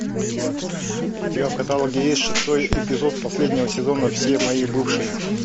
у тебя в каталоге есть шестой эпизод последнего сезона все мои бывшие